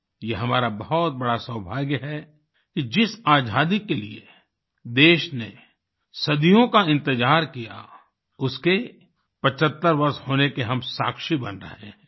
ये हमारा बहुत बड़ा सौभाग्य है कि जिस आज़ादी के लिए देश ने सदियों का इंतजार किया उसके 75 वर्ष होने के हम साक्षी बन रहे हैं